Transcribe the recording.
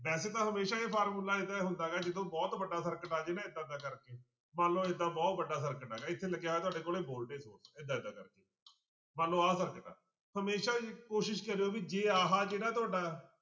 ਵੈਸੇ ਤਾਂ ਹਮੇਸ਼ਾ ਇਹ ਫਾਰਮੁਲਾ ਇਹਦਾ ਹੁੰਦਾ ਗਾ ਜਦੋਂ ਬਹੁਤ ਵੱਡਾ circuit ਆ ਜਾਏ ਨਾ ਏਦਾਂਂ ਏਦਾਂ ਕਰਕੇ, ਮੰਨ ਲਓ ਏਦਾਂ ਬਹੁਤ ਵੱਡਾ circuit ਆ ਗਿਆ ਇੱਥੇ ਲੱਗਿਆ ਹੋਇਆ ਤੁਹਾਡੇ ਕੋਲੇ ਏਦਾਂ ਏਦਾਂ ਕਰਕੇ ਮੰਨ ਲਓ ਆਹ circuit ਆ ਹਮੇਸ਼ਾ ਹੀ ਕੋਸ਼ਿਸ਼ ਕਰਿਓ ਵੀ ਜੇ ਆਹ ਜਿਹੜਾ ਤੁਹਾਡਾ